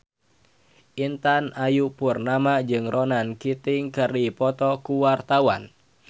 Intan Ayu Purnama jeung Ronan Keating keur dipoto ku wartawan